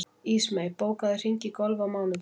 Ísmey, bókaðu hring í golf á mánudaginn.